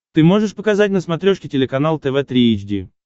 ты можешь показать на смотрешке телеканал тв три эйч ди